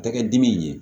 Tɛgɛ dimi ye